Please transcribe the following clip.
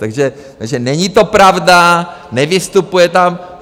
Takže není to pravda, Nevystupuje tam.